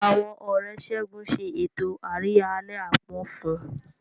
Àwọn Ọ̀rẹ́ Segun ṣe ètò àríyá àlẹ́ àpọ́n fún un.